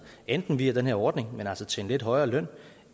enten via den her ordning men altså til en lidt højere løn